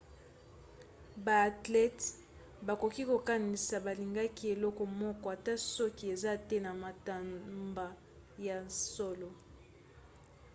baathlètes bakoki kokanisa balingaka eloko moko ata soki eza te na matomba ya solo